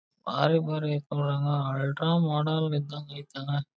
Ultra modern ಇದಂಗ್ ಆಯತ್ ಅಲ್ಲಾ.